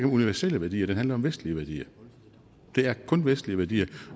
universelle værdier den handler om vestlige værdier det er kun vestlige værdier